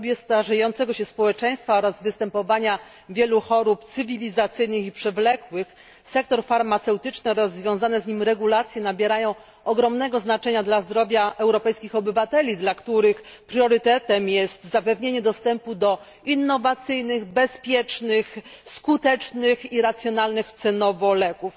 W dobie starzejącego się społeczeństwa oraz występowania wielu chorób cywilizacyjnych i przewlekłych sektor farmaceutyczny oraz związane z nim regulacje nabierają ogromnego znaczenia dla zdrowia europejskich obywateli, dla których priorytetem jest zapewnienie dostępu do innowacyjnych, bezpiecznych, skutecznych i racjonalnych cenowo leków.